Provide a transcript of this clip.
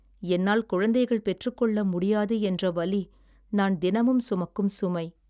என்னால் குழந்தைகள் பெற்றுக் கொள்ள முடியாது என்ற வலி நான் தினமும் சுமக்கும் சுமை.